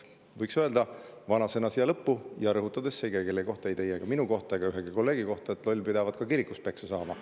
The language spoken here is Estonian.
Võiks öelda vanasõna siia lõppu – rõhutades, et see ei käi kellegi kohta, ei teie, minu ega ühegi kolleegi kohta –, et loll pidavat ka kirikus peksa saama.